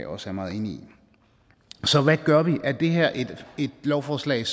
også er meget enig i så hvad gør vi er det her et lovforslag